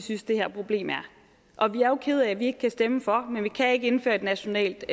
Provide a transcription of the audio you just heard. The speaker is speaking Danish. synes det her problem er og vi er jo kede af at vi ikke kan stemme for men vi kan ikke indføre et nationalt